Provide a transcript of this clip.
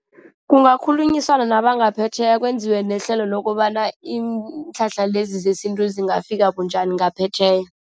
Kungakhulunyiswana nabangaphetjheya, kwenziwe nehlelo lokobana iinhlahla lezi zesintu zingafika bunjani ngaphetjheya.